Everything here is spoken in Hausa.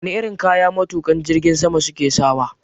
Wane irin kaya matukan jirgin sama suke sawa?